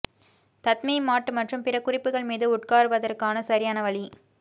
tatami mat மற்றும் பிற குறிப்புகள் மீது உட்கார்வதற்கான சரியான வழி